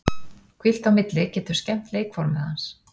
Hvíld á milli getur skemmt leikformið hans.